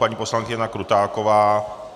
Paní poslankyně Jana Krutáková...